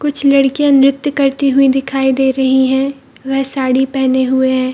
कुछ लड़कियां नृत्य करती हुई दिखाई दे रही है वह साड़ी पहने हुए है।